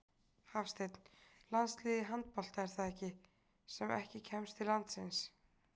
Hafsteinn: Landslið í handbolta, er það ekki, sem ekki kemst til landsins?